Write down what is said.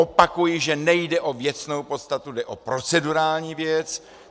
Opakuji, že nejde o věcnou podstatu, jde o procedurální věc.